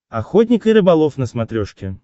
охотник и рыболов на смотрешке